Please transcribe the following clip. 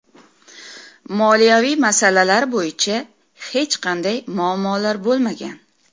Moliyaviy masalalar bo‘yicha hech qanday muammolar bo‘lmagan.